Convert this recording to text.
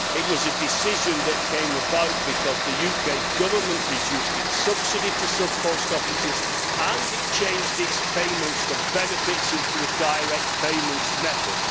It was a decision that came about because the UK Government reduced its subsidy to sub post offices and it changed its payments of benefits into a direct payments method.